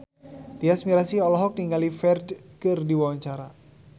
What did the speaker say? Tyas Mirasih olohok ningali Ferdge keur diwawancara